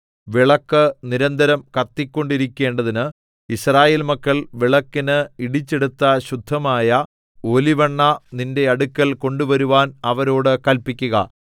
വിളക്ക് നിരന്തരം കത്തിക്കൊണ്ടിരിക്കേണ്ടതിന് യിസ്രായേൽ മക്കൾ വിളക്കിന് ഇടിച്ചെടുത്ത ശുദ്ധമായ ഒലിവെണ്ണ നിന്റെ അടുക്കൽ കൊണ്ടുവരുവാൻ അവരോട് കല്പിക്കുക